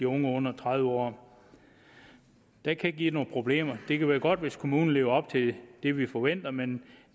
unge under tredive år det kan give nogle problemer det kan være godt hvis kommunen lever op til det vi forventer men